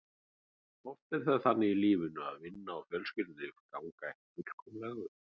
Oft er það þannig í lífinu að vinna og fjölskyldulíf ganga ekki fullkomlega upp.